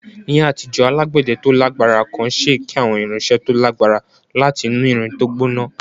Ní àtijọ́, alágbẹ̀dẹ tó lágbára kan ṣe èké àwọn irinṣẹ́ tó lágbára láti inú irin tó gbóná